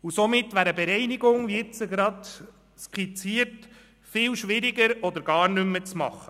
Somit wäre eine Bereinigung, wie gerade skizziert, viel schwieriger oder gar nicht mehr machbar.